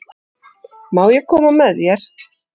Má ég koma með þér?